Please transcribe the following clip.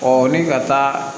Ɔ ni ka taa